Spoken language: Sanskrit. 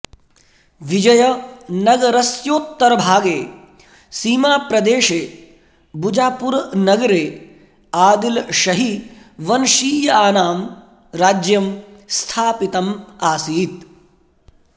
विजयनगरस्योत्तरभागे सीमाप्रदेशे बुजापुरनगरे आदिलषही वंशीयानां राज्यम् स्थापितम् आसीत्